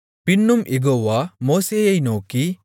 பின்னும் யெகோவா மோசேயை நோக்கி